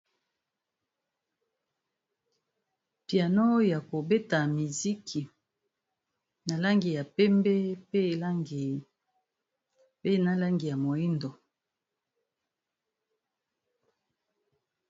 Piano ya kobeta miziki, na langi ya pembe pe na langi ya moyindo.